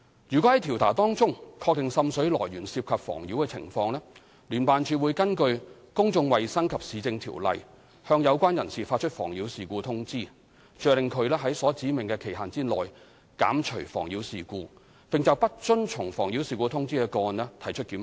如果在調查中確定滲水來源涉及妨擾情況，聯辦處會根據《公眾衞生及市政條例》向有關人士發出"妨擾事故通知"，着令在所指明的期限內減除妨擾事故，並就不遵從"妨擾事故通知"的個案提出檢控。